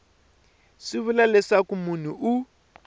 swi vula leswaku munhu u